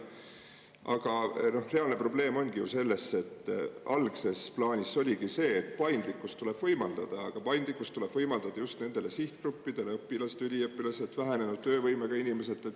Aga reaalne probleem ongi ju selles, et algses plaanis oligi see, et paindlikkust tuleb võimaldada, aga paindlikkust tuleb võimaldada just nendele sihtgruppidele: õpilased, üliõpilased, vähenenud töövõimega inimesed.